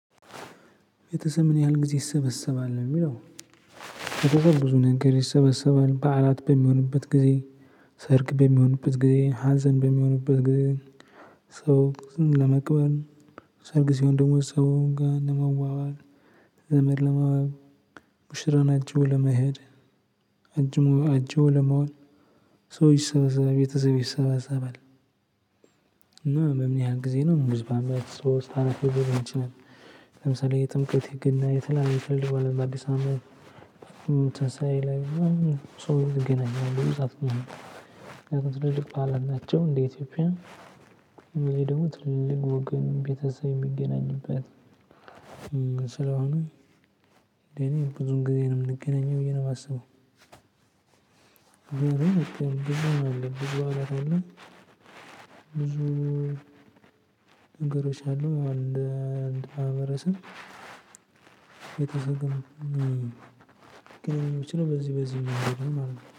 ቤተሰብ ምን ያህል ጊዜ ይሰበሰባል ለሚለው? በ ብዙ ነገር ይሰበሰባል በዓላት በሚሆንበት ጊዜ ሰርግ በሚሆንበት ጊዜ ሀዘን በሚሆንበት ጊዜ። ሰው ለመቅበር ሰርግ ሲሆን ደግሞ ሰው ጋር ለመዋዋል ዘመድ ሙሽራን አጂቦ ለመሄድ አጅቦ አጅቦ ለመዋል ሰው ይሰበሰባል ቤተሰብ ይሰበሰባል። እና በምን ያህል ጊዜ ነው? እንደዚህ በአመት ሶስት አራቴ ሊሆን ይችላል። ለምሳሌ የጥምቀት የገና የተለያየ ትልቅ በአዲስ አመት ትንሳኤ ላይ። ሰው እንገናኛለን እገናኛለሁ ምክንያቱም ትልልቅ በዓላት ናቸው እንደ ኢትዮጵያ። የሚል ደግሞ ትልልቅ ወገን ቤተሰብ የሚገናኝበት ስለሆነ። እንደ እኔ ብዙ ጊዜ ነው የምንገናኘው ብዬ ነው እማስበው። ብዙ አለ ብዙ በዓላት አለ። ብዙ ነገሮች አሉ ማለት ነው። እንደ አንድ ማህበረሰብ ግንኙነት ሊኖር ችለው በዚህ በዚህ መንገድ ነው ማለት ነው